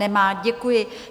Nemá, děkuji.